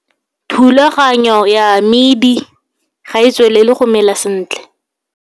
Thulaganyo ya medi ga e tswelele go mela sentle.